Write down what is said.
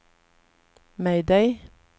mayday